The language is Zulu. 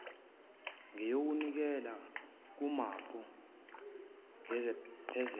ngeyokunikela kumanpo ngephesenti